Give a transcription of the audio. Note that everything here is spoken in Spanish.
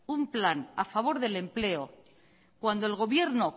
un plan a favor del empleo cuando el gobierno